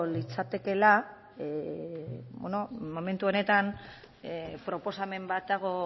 litzatekeela momentu honetan proposamen bat dago